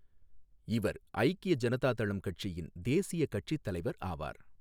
இவர் ஐக்கிய ஜனதா தளம் கட்சியின் தேசிய கட்சித் தலைவர் ஆவார்.